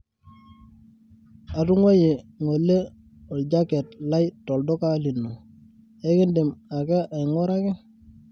atunguayie ngole oljaket lai tolduka lino, ekidim ake ainguraki